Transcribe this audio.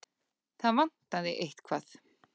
Það vantaði eitthvað.